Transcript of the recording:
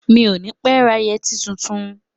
Mi ò ní pé ra yẹtí tuntun.